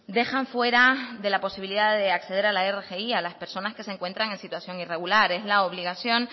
dejan fuera de la posibilidad de acceder a la rgi a las personas que se encuentran en situación irregular es la obligación